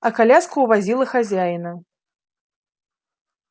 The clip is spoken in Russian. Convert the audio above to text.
а коляска увозила хозяина